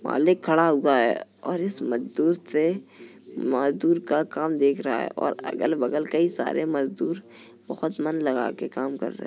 मालिक खड़ा हुआ है और इस मजदूर से मजदूर का काम देख रहा है और अगल बगल कई सारे मजदूर बहुत मन लगा के काम कर रहे हैं।